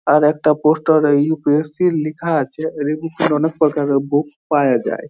আর একটা poster ...UPSC লেখা আছে রে অনেক প্রকারের বুক পাওয়া যায় ।